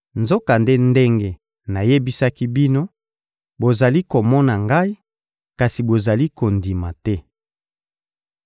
Nzokande, ndenge nayebisaki bino, bozali komona Ngai, kasi bozali kondima te.